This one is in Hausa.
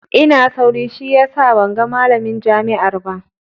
Ina sauri, shi yasa ban ga malamin jami'ar ba.